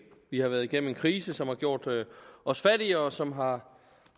vi har været igennem en krise som har gjort os fattigere og som har